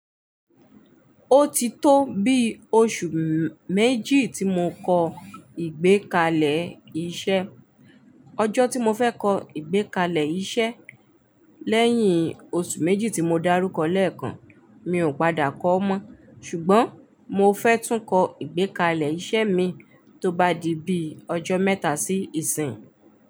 Ó ti tó bi oṣù méjì tí mo kọ ìgbékalẹ̀ iṣẹ́. Ọjọ́ tí mo fẹ́ kọ ìgbékalẹ̀ iṣẹ́ lẹ́yìn oṣù méjì tí mo dárúkọ lẹ́ẹ̀kan, mi ò padà kọ́ mọ́. Ṣùgbọ́n mo fẹ́ tún kọ ìgbékalẹ̀ iṣẹ́ mii tó bá di bíi ọjọ́ mẹ́ta sí ìsín.